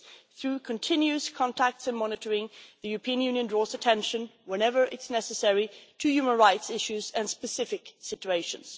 Through continuing contacts and monitoring, the European Union draws attention, whenever it is necessary, to human rights issues and specific situations.